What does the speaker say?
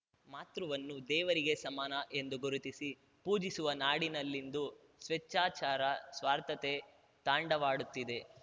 ಮಾತೃವನ್ನು ದೇವರಿಗೆ ಸಮಾನ ಎಂದು ಗುರುತಿಸಿ ಪೂಜಿಸುವ ನಾಡಿನಲ್ಲಿಂದು ಸ್ವೇಚ್ಛಾಚಾರ ಸ್ವಾರ್ಥತೆ ತಾಂಡವಾಡುತ್ತಿದೆ